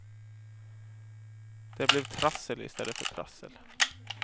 Det blev trassel i stället för prassel.